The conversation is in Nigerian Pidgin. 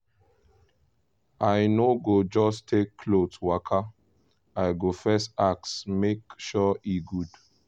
i no go just take cloth waka i go first ask make sure e good.